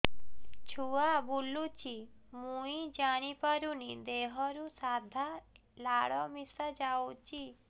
ଛୁଆ ବୁଲୁଚି ମୁଇ ଜାଣିପାରୁନି ଦେହରୁ ସାଧା ଲାଳ ମିଶା ଯାଉଚି